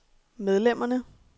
medlemmerne